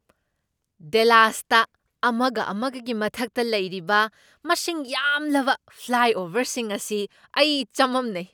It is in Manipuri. ꯗꯦꯂꯥꯁꯇ ꯑꯃꯒ ꯑꯃꯒꯒꯤ ꯃꯊꯛꯇ ꯂꯩꯔꯤꯕ ꯃꯁꯤꯡ ꯌꯥꯝꯂꯕ ꯐ꯭ꯂꯥꯏꯑꯣꯚꯔꯁꯤꯡ ꯑꯁꯤ ꯑꯩ ꯆꯃꯝꯅꯩ꯫